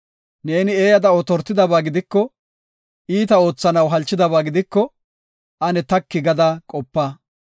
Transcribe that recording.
Neeni eeyada otortidaba gidikoka, iita oothanaw halchidaba gidiko, ane taki gada qopa.